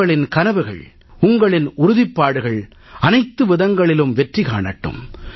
உங்களின் கனவுகள் உங்களின் உறுதிப்பாடுகள் அனைத்து விதங்களிலும் வெற்றி காணட்டும்